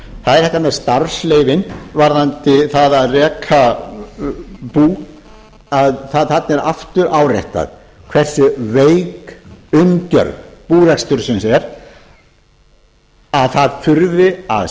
það er þetta með starfsleyfin varðandi það að reka bú að þarna er aftur áréttað hversu veik umgjörð búrekstursins er að það þurfi að